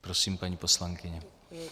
Prosím, paní poslankyně.